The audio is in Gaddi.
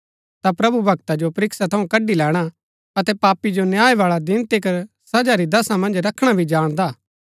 ता प्रभु भक्ता जो परीक्षा थऊँ कड्ड़ी लैणा अतै पापी जो न्याय बाळै दिन तिकर सजा री दशा मन्ज रखणा भी जाणदा हा